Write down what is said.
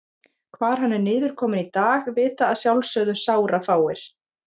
Hvar hann er niðurkominn í dag vita að sjálfsögðu sárafáir.